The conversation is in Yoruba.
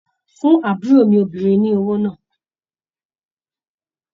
Fún àbúrò mi obìnrin ní owó náà!